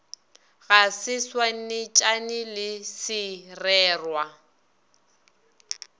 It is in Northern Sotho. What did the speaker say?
ga se swanetšane le sererwa